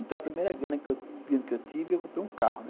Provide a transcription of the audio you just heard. Então, a primeira grana que eu que eu tive, eu comprei um carro, né.